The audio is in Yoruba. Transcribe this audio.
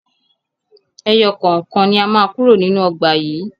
Ẹyọ kọ̀ọ̀kan ni a má kúrò nínú ọgbà yìí